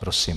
Prosím.